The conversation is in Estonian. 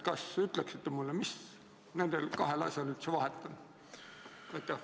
Kas ütleksite mulle, mis nendel kahel asjal üldse vahet on?